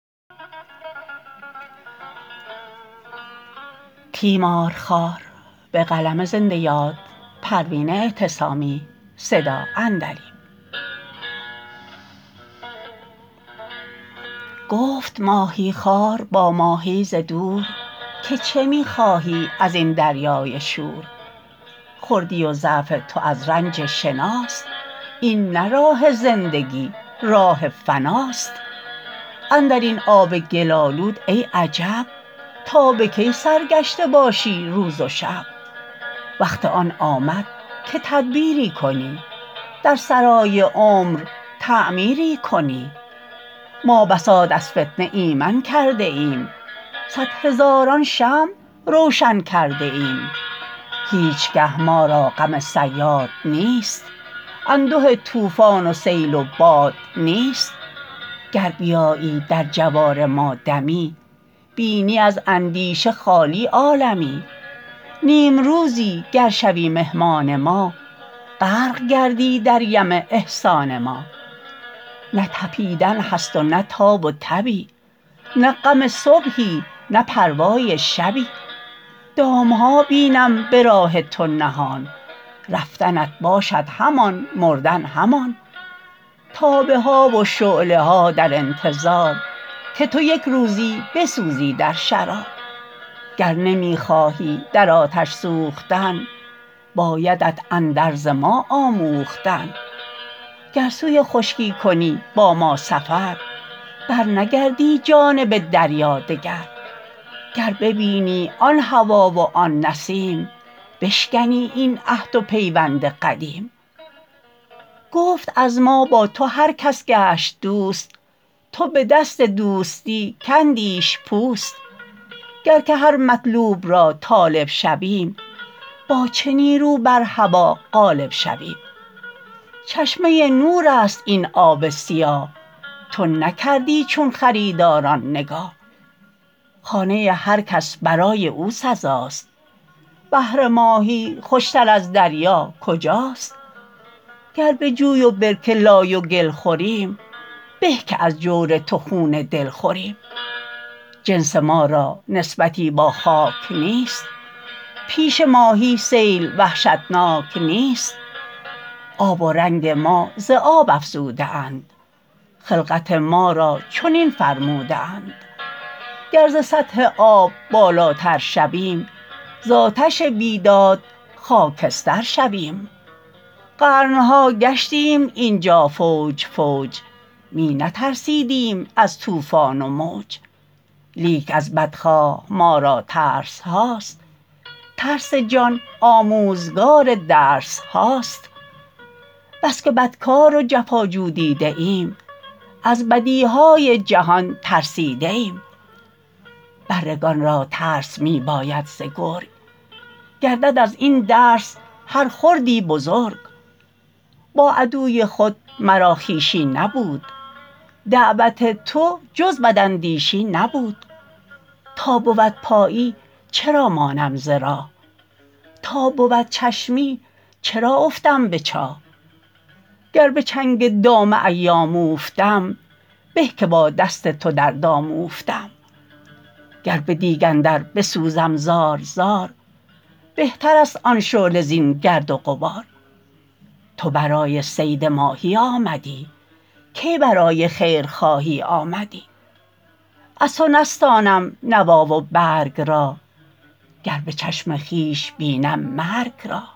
گفت ماهیخوار با ماهی ز دور که چه میخواهی ازین دریای شور خردی و ضعف تو از رنج شناست این نه راه زندگی راه فناست اندرین آب گل آلود ای عجب تا بکی سرگشته باشی روز و شب وقت آن آمد که تدبیری کنی در سرای عمر تعمیری کنی ما بساط از فتنه ایمن کرده ایم صد هزاران شمع روشن کرده ایم هیچگه ما را غم صیاد نیست انده طوفان و سیل و باد نیست گر بیایی در جوار ما دمی بینی از اندیشه خالی عالمی نیمروزی گر شوی مهمان ما غرق گردی در یم احسان ما نه تپیدن هست و نه تاب و تبی نه غم صبحی نه پروای شبی دامها بینم براه تو نهان رفتنت باشد همان مردن همان تابه ها و شعله ها در انتظار که تو یکروزی بسوزی در شرار گر نمی خواهی در آتش سوختن بایدت اندرز ما آموختن گر سوی خشکی کنی با ما سفر بر نگردی جانب دریا دگر گر ببینی آن هوا و آن نسیم بشکنی این عهد و پیوند قدیم گفت از ما با تو هر کس گشت دوست تو بدست دوستی کندیش پوست گر که هر مطلوب را طالب شویم با چه نیرو بر هوی غالب شویم چشمه نور است این آب سیاه تو نکردی چون خریداران نگاه خانه هر کس برای او سزاست بهر ماهی خوشتر از دریا کجاست گر بجوی و برکه لای و گل خوریم به که از جور تو خون دل خوریم جنس ما را نسبتی با خاک نیست پیش ماهی سیل وحشتناک نیست آب و رنگ ما ز آب افزوده اند خلقت ما را چنین فرموده اند گر ز سطح آب بالاتر شویم زاتش بیداد خاکستر شویم قرنها گشتیم اینجا فوج فوج می نترسیدیم از طوفان و موج لیک از بدخواه ما را ترسهاست ترس جان آموزگار درسهاست بسکه بدکار و جفا جو دیده ام از بدیهای جهان ترسیده ایم بره گان را ترس میباید ز گرگ گردد از این درس هر خردی بزرگ با عدوی خود مرا خویشی نبود دعوت تو جز بداندیشی نبود تا بود پایی چرا مانم ز راه تا بود چشمی چرا افتم به چاه گر بچنگ دام ایام اوفتم به که با دست تو در دام اوفتم گر بدیگ اندر بسوزم زار زار بهتر است آن شعله زین گرد و غبار تو برای صید ماهی آمدی کی برای خیر خواهی آمدی از تو نستانم نوا و برگ را گر بچشم خویش بینم مرگ را